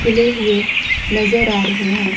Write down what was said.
खिले हुए नज़र आ रहे हैं।